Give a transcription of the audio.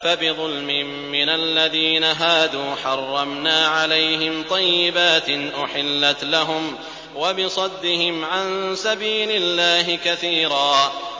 فَبِظُلْمٍ مِّنَ الَّذِينَ هَادُوا حَرَّمْنَا عَلَيْهِمْ طَيِّبَاتٍ أُحِلَّتْ لَهُمْ وَبِصَدِّهِمْ عَن سَبِيلِ اللَّهِ كَثِيرًا